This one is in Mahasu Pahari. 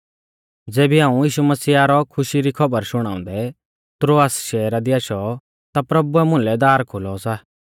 ज़ेबी हाऊं यीशु मसीहा रौ खुशी री खौबर शुणाउंदै त्रोआस शैहरा दी आशौ ता प्रभुऐ मुलै दार खोलौ सा